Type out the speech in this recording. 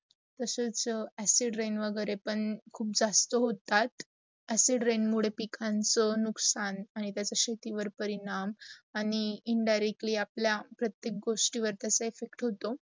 तच acid rain वगैरे पण जास्त होतात, acid rain मुडे पिकांच नुकसान अनित्याचा शेतीवार् परिणाम, आणी indirectly आपल्या प्रत्येक गोष्टीवर effect होतो